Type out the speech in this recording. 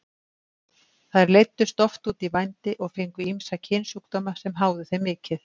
Þær leiddust oft út í vændi og fengu ýmsa kynsjúkdóma sem háðu þeim mikið.